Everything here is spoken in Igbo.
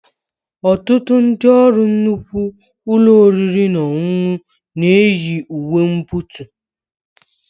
Ọtụtụ ndị ọrụ nnukwu ụlọ oriri na ọṅụṅụ na-eyi uwe mbonotu